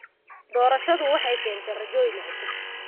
Doorashadu waxay keentay rajooyin cusub.